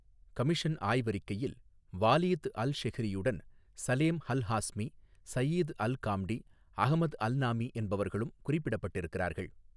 Commission ஆய்வறிக்கையில் Waleed அல்ஷெஹ்ரியுடன் Salem Alhazmi Saeed Alghamdi Ahmed Alnami என்பவர்களும் குறிப்பிடப்பட்டிருக்கிறார்கள்.